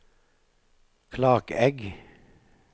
Klakegg